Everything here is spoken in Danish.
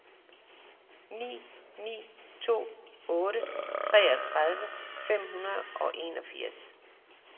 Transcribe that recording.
ni ni to otte treogtredive fem hundrede og enogfirs